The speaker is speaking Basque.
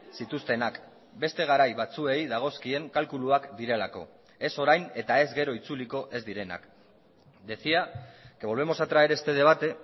zituztenak beste garai batzuei dagozkien kalkuluak direlako ez orain eta ez gero itzuliko ez direnak decía que volvemos a traer este debate